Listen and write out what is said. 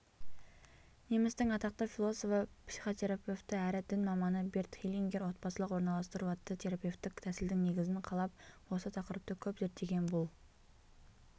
немістің атақты философы психотерапевті әрі дін маманы берт хеллингер отбасылық орналастыру атты терапевтік тәсілдің негізін қалап осы тақырыпты көп зерттеген бұл